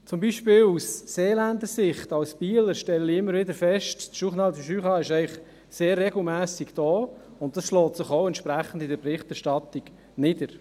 Aus Seeländer Sicht, als Bieler, stelle ich immer wieder fest, dass das «Journal du Jura» sehr regelmässig hier ist, und dies schlägt sich auch entsprechend in der Berichterstattung nieder.